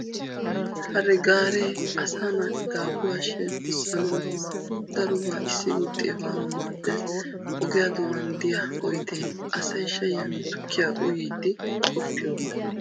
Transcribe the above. Hare gaaree asaa naati daafuraa shemppissanawu darobaa issi gutti efanawu maaddes. Ogiyaa doonan diya oyidee asay dhayyiyaanne tukkiya uyiiddi uttiyogaa.